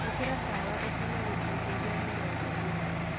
Ikĩra tawa ũkĩnye gĩcũnjĩ gia mĩrongo ĩrĩ